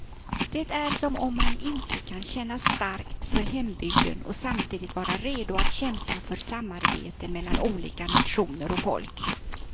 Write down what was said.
Det är som om man inte kan känna starkt för hembygden och samtidigt vara redo att kämpa för samarbete mellan olika nationer och folk.